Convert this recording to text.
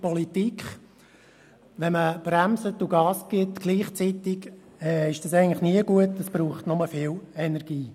Gleichzeitig zu bremsen und Gas zu geben, ist nie gut, es braucht nur viel Energie.